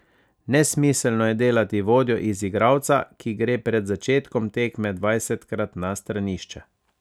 Nesmiselno je delati vodjo iz igralca, ki gre pred začetkom tekme dvajsetkrat na stranišče.